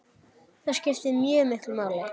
Það skipti mjög miklu máli.